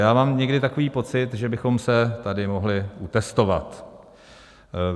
Já mám někdy takový pocit, že bychom se tady mohli utestovat.